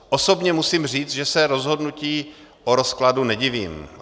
Osobně musím říct, že se rozhodnutí o rozkladu nedivím.